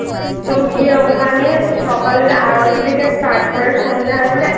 তো গিয়ে ওখানে সকালের আরতি থেকে Start করে